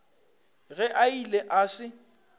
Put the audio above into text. ge a ile a se